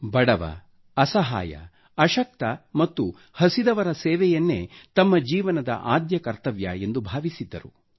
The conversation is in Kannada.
ಬಡವ ಬಲ್ಲಿದ ಅಶಕ್ತ ಮತ್ತು ಹಸಿದವರ ಸೇವೆಯನ್ನೇ ತಮ್ಮ ಜೀವನದ ಆದ್ಯ ಕರ್ತವ್ಯವೆಂದು ಭಾವಿಸಿದ್ದರು